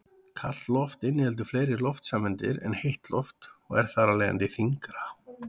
Kalt loft inniheldur fleiri loftsameindir en heitt loft og er þar af leiðandi þyngra.